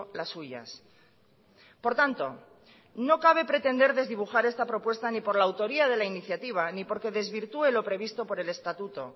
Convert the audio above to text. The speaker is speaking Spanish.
las suyas por tanto no cabe pretender desdibujar esta propuesta ni por la autoría de la iniciativa ni porque desvirtúe lo previsto por el estatuto